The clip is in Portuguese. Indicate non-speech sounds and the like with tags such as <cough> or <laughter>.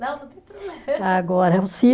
Não, não tem. <unintelligible> Agora se